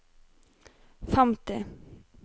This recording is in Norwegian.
femti